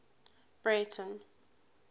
breyten